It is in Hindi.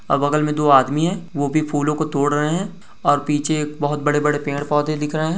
और बगल में दो आदमी है वो भी फूलों को तोड़ रहें हैं और पीछे एक बहुत बड़े-बड़े पेड़-पौधे दिख रहें हैं।